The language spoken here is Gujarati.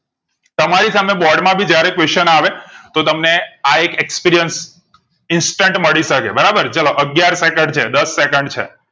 તમારી સામે બોર્ડ માં ભી જયારે question આવે તો તમને આ એક experience instant મળી શકે બરાબર ચાલો અગિયાર સેકન્ડ છે દસ સેકન્ડ છે